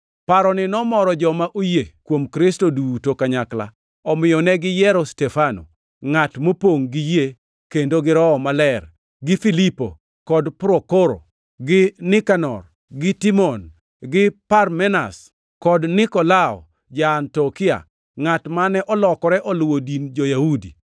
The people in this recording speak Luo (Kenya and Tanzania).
Paroni nomoro joma oyie kuom Kristo duto kanyakla, omiyo ne giyiero Stefano, ngʼat mopongʼ gi yie kendo gi Roho Maler, gi Filipo, kod Prokoro, gi Nikanor, gi Timon, gi Parmenas, kod Nikolao ja-Antiokia, ngʼat mane olokore oluwo din jo-Yahudi.